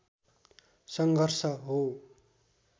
सङ्घर्ष हो